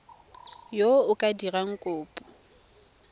yo o ka dirang kopo